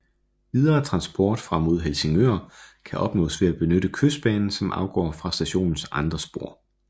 Videre transport fra mod Helsingør kan opnås ved at benytte Kystbanen som afgår fra stationens andre spor